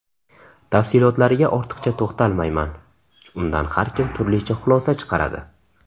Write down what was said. Tafsilotlariga ortiqcha to‘xtalmayman, undan har kim turlicha xulosa chiqaradi.